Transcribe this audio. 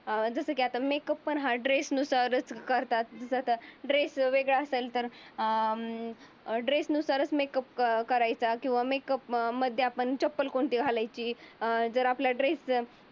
जस की आता मेकअप हा ड्रेस नुसार करतात. आता ड्रेस वेगळा असेल तर अं ड्रेस नुसारच मेकअप करायचा कीव्हा मेकअप मध्ये आपण चप्पल कोणती घालायची. अं जर आपला ड्रेस